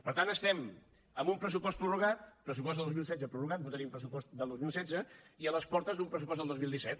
per tant estem amb un pressupost prorrogat pressupost del dos mil setze prorrogat no tenim pressupost del dos mil setze i a les portes d’un pressupost del dos mil disset